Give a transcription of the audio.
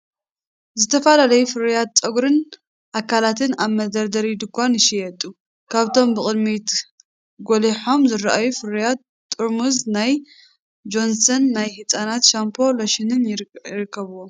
ዝተፈላለዩ ፍርያት ጸጉርን ኣካላትን ኣብ መደርደሪ ድኳን ይሽየጡ። ካብቶም ብቕድሚት ጐሊሖም ዝረኣዩ ፍርያት፡ ጥርሙዝ ናይ ጆንሰን ናይ ህጻናት ሻምፖን ሎሽንን ይርከብዎም።